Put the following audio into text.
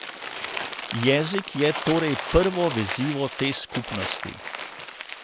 Jezik je torej prvo vezivo te skupnosti.